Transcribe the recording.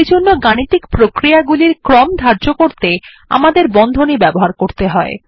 সেইজন্য গাণিতিক প্রক্রিয়া গুলির ক্রম ধার্য করতে আমাদের বন্ধনী ব্যবহার করতে হয়